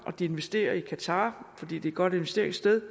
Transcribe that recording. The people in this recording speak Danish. og de investerer i qatar fordi det er et godt investeringssted